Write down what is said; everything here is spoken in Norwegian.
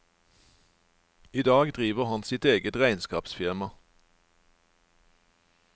I dag driver han sitt eget regnskapsfirma.